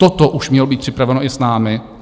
Toto už mělo být připraveno i s námi.